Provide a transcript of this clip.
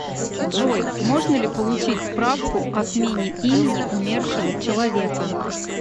джой можно ли получить справку о смене имени умершего человека